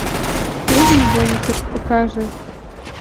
фильм бункер покажи